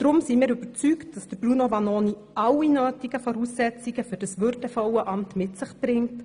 Deshalb sind wir davon überzeugt, dass Bruno Vanoni alle nötigen Voraussetzungen für dieses würdevolle Amt mitbringt.